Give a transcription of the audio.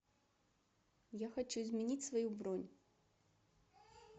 я хочу изменить свою бронь